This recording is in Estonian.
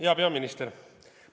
Hea peaminister!